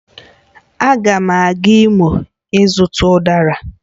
Agam aga Imo ịzuta Udara